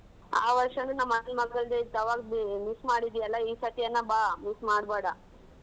ಆ ವರ್ಷನು ನಮ್ಮ್ ಅಣ್ಣನ್ ಮಗಂದ್ ಇತ್ತು ಆವಾಗ್ miss ಮಾಡಿದ್ದೆ ಅಲ್ಲ ಈ ಸರ್ತಿಯನ ಬಾ miss ಮಾಡ್ಬೇಡ.